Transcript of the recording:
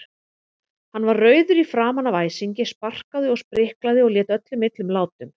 Hann var rauður í framan af æsingi, sparkaði og spriklaði og lét öllum illum látum.